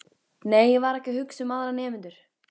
Nei, ég var ekki að hugsa um aðra nemendur.